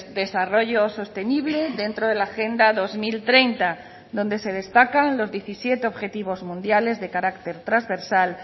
desarrollo sostenible dentro de la agenda dos mil treinta donde se destacan los diecisiete objetivos mundiales de carácter trasversal